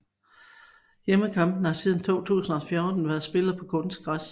Hjemmekampene har siden 2014 været spillet på kunstgræs